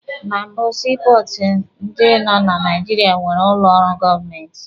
Na mbụ, sii pọọtụ ndị nọ na Naijiria nwere ụlọ ọrụ government.